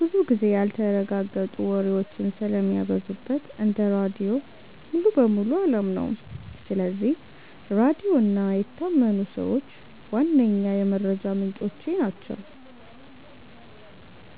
ብዙ ጊዜ ያልተረጋገጡ ወሬዎች ስለሚበዙበት እንደ ራድዮ ሙሉ በሙሉ አላምነውም። ስለዚህ ራድዮ እና የታመኑ ሰዎች ዋነኛ የመረጃ ምንጮቼ ናቸው።